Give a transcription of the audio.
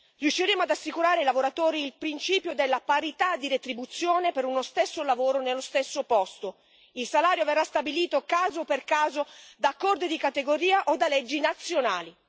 Riusciremo ad assicurare ai lavoratori il principio della parità di retribuzione per uno stesso lavoro nello stesso posto. Il salario verrà stabilito caso per caso da accordi di categoria o da leggi nazionali.